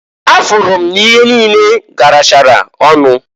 Afụrụ m n'ihe niine garachara ọnụ.